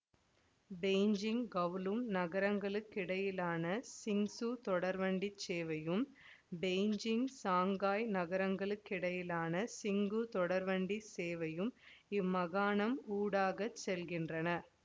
Beijing Kowloon நகரங்களுக்கிடையிலான சிங்சு தொடர்வண்டிச் சேவையும் பெய்ஜிங் சாங்காய் நகரங்களுக்கிடையிலான சிங்கு தொடர்வண்டிச் சேவையும் இம்மாகாணம் ஊடாகச் செல்கின்றன